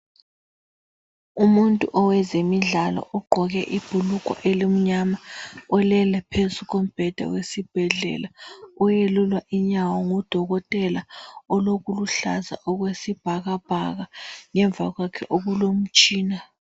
Umuntu owezemidlalo ugqoke ibhulugwe elimnyama ulele phezu kombheda owesibhedlela oyelulwa inyawo ngudokotela olokuluhlaza okwesibhakabhaka ngemva kwakhe okulomtshina.